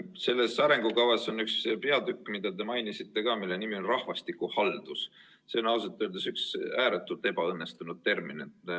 Selles arengukavas on üks peatükk, mida te ka mainisite, mille teema on rahvastikuhaldus – see on ausalt öeldes üks ääretult ebaõnnestunud termin.